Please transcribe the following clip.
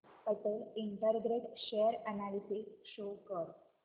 Patel integrate share analysis show कर